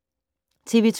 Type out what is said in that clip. TV 2